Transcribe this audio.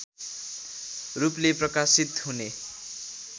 रूपले प्रकाशित हुने